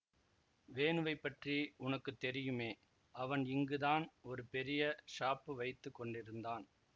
வேணுவைப்பற்றி உனக்கு தெரியுமே அவன் இங்கு தான் ஒரு பெரிய ஷாப்பு வைத்து கொண்டிருந்தான்